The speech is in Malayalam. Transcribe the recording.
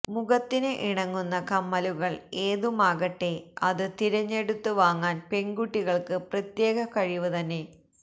മുഖത്തിന് ഇണങ്ങുന്ന കമ്മലുകള് ഏതുമാകട്ടെ അത് തിരഞ്ഞെടുത്ത് വാങ്ങാന് പെണ്കുട്ടികള്ക്ക് പ്രത്യേക കഴിവ് തന്നെ